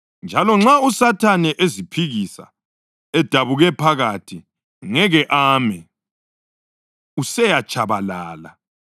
Njalo nxa uSathane eziphikisa, edabuke phakathi, ngeke ame; useyatshabalala.